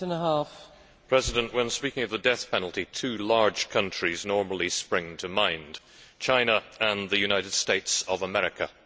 Madam President, when speaking of the death penalty, two large countries normally spring to mind China and the United States of America.